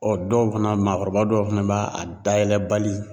dɔw fana maakɔrɔba dɔw fana b'a a dayɛlɛbali